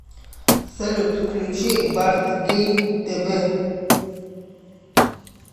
салют включи барт гейм тэ вэ